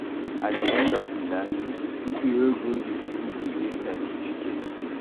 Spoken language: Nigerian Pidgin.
At the end of di learning, pipo wey go di school go get cerificate